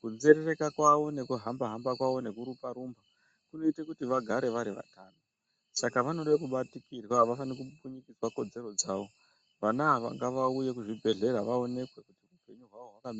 kunzerereka kwavo nekuhamba hamba kuita kuti vagare varivatano saka vanoda kubatikirwa avafanirwi kumbunyukidzwa kodzero dzavo vana ava ngauye kuzvibhehlera vaonekwe kuti hunpenyu hwavo hwakamira.